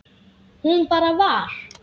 Hún bara var.